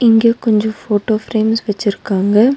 இங்க கொஞ்சொ photo frames வெச்சிருகாங்க.